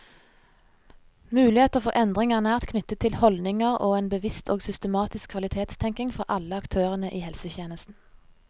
Muligheter for endring er nært knyttet til holdninger og en bevisst og systematisk kvalitetstenkning fra alle aktørene i helsetjenesten.